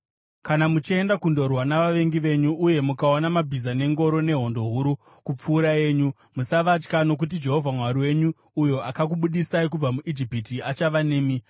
Kana muchienda kundorwa navavengi venyu uye mukaona mabhiza nengoro nehondo huru kupfuura yenyu, musavatya, nokuti Jehovha Mwari, uyo akakubudisai kubva muIjipiti, achava nemi.